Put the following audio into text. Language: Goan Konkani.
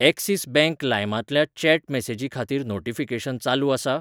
एक्सिस बँक लाइमांतल्या चॅट मेसेजी खातीर नोटीफिकेशन चालू आसा?